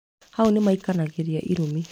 Hau nĩmaikanagĩria irumi